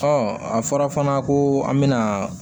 a fɔra fana ko an bɛna